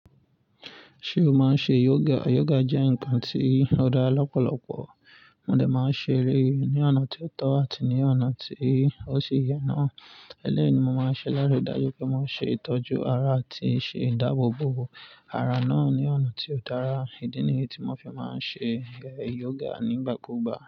Ṣé o máa ń ṣe yoga? Yoga jẹ́ nǹkan tí ó dá lọ́pọ̀lọpọ̀ mọ́ dẹ̀ máa ń ṣe e ní ọ̀nà tí ó tọ́ àti ní ọ̀nà tí ó sì yẹ náà. Eleyini mo máa ń ṣe lári dájú pé mo n ṣe ìtọ́jú ara àti iṣe ìdáàbò bo ara náà ní ọ̀nà tí ó dára. Ídí nìyí tí mo fi máa ń ṣe ere yoga nígbà kúùgbà.